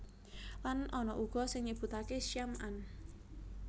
Lan ana uga sing nyebutaké Syam an